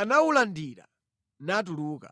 anawulandira natuluka.